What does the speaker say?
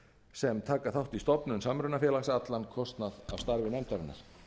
sem taka þátt í stofnun samrunafélags allan kostnað af starfi nefndarinnar